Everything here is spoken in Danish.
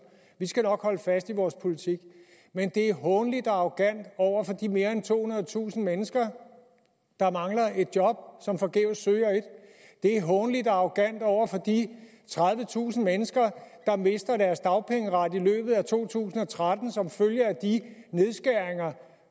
vi skal nok holde fast i vores politik men det er hånligt og arrogant over for de mere end tohundredetusind mennesker der mangler et job og som forgæves søger et det er hånligt og arrogant over for de tredivetusind mennesker der mister deres dagpengeret i løbet af to tusind og tretten som følge af de nedskæringer